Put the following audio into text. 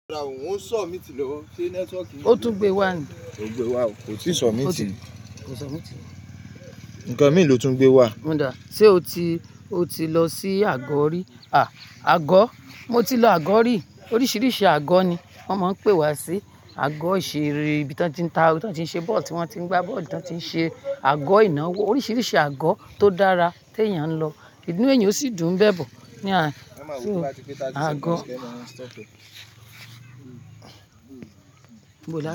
Rárá òun ń sọ míìtì lọ, ṣe networki ò tún gbé wá? Kò gbé wá o. Kò tíì sọ míìtì. Kò sọ míìtì. Nǹkan mi ló tún gbé wá. Mú dàá, ṣe o ti, o ti lọ sí àgọ̀ rí? À, àgọ́, mo ti lọ àgọ̀ rí. Oríṣiríṣi àgọ́ ni wọ́n máa ń pè wá sí. Àgọ́ ìṣeré, ibi tí wọ́n ti ń ta, ibi tí wọ́n ti ń ṣe bọ́ọ̀lù, tí wọ́n ti ń gbá bọ́ọ̀lù, tí wọ́n ti ń ṣe, àgọ́ ìnáwó. Oríṣiríṣi àgọ́ tó dára tí èèyàn ń lọ. Kìnnìún èèyàn ó sì dùn bẹbọ. Ni a, so àgọ́.